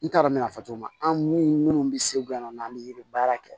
N t'a dɔn n bɛn'a fɔ cogo min na an minnu bɛ segu yan nɔ n'an bɛ yiri baara kɛ